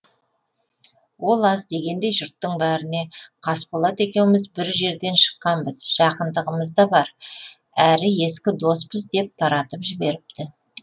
ол аз дегендей жұрттың бәріне қасболат екеуміз бір жерден шыққанбыз жақындығымыз да бар әрі ескі доспыз деп таратып жіберіпті